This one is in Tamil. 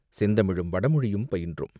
செந்தமிழும் வடமொழியும் பயின்றோம்.